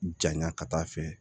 Janya ka taa fɛ